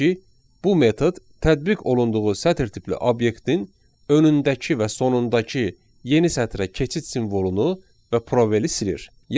bu metod tədbiq olunduğu sətr tipli obyektin önündəki və sonundakı yeni sətrə keçid simvolunu və probeli silir.